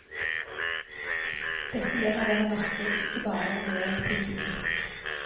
Dette gjelder vel å merke ikke bare regjeringspolitikken.